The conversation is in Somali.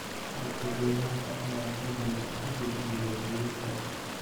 Dadka deegaanka ayaa xubinka u gudbiyay booliiska.